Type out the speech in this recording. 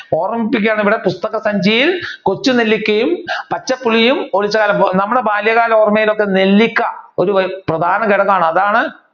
ഓർമിപ്പിക്കുകയാണ് ഇവിടെ പുസ്തക സഞ്ചിയിൽ കൊച്ചുനെല്ലിക്കയും പച്ചപുളിയും നമ്മുടെ ബാല്യകാല ഓർമയിലൊക്കെ നെല്ലിക്ക ഒരു പ്രധാനഘടകമാണ് അതാണ്